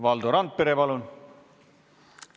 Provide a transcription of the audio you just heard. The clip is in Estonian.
Valdo Randpere, palun!